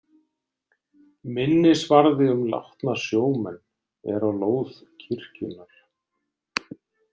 Minnisvarði um látna sjómenn er á lóð kirkjunnar.